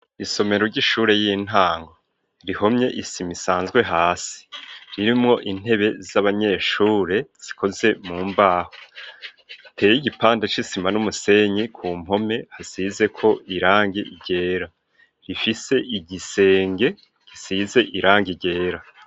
Isomero ry'ishure y'intango rihomye isim isanzwe hasi ririmwo intebe z'abanyeshure zikoze mu mbaho teye igipanda c'isima n'umusenyi ku mpome hasizeko irangi ryera rifise igisenge gisize irangi ryera.